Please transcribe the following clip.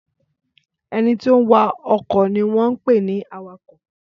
Ẹnití ó ń wa okọ̀ ni wọ́n ń pè ní awakọ̀